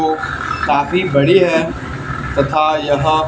काफी बड़ी है तथा यह--